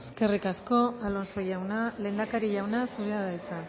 eskerrik asko alonso jauna lehendakari jauna zurea da hitza